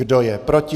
Kdo je proti?